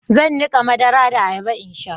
zan nika madara da ayaba in sha